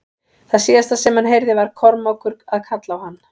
Það síðasta sem hann heyrði var Kormákur að kalla á hann.